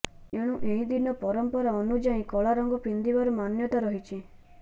ଏଣୁ ଏହି ଦିନ ପରମ୍ପରା ଅନୁଯାୟୀ କଳା ରଙ୍ଗ ପିନ୍ଧିବାର ମାନ୍ୟତା ରହିଛି